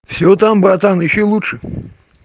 всё там братан ищи лучше